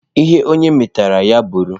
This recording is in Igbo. Ihe onye metara, ya bụrụ.